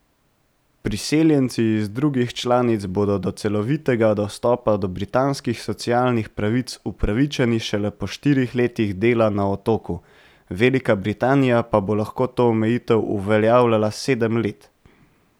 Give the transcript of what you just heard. Priseljenci iz drugih članic bodo do celovitega dostopa do britanskih socialnih pravic upravičeni šele po štirih letih dela na Otoku, Velika Britanija pa bo lahko to omejitev uveljavljala sedem let.